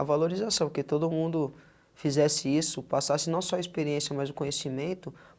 A valorização, porque todo mundo fizesse isso, passasse não só a experiência, mas o conhecimento.